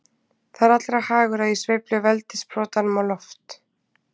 Það er allra hagur að ég sveifli veldissprotanum á loft.